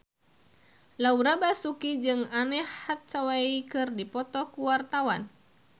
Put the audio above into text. Laura Basuki jeung Anne Hathaway keur dipoto ku wartawan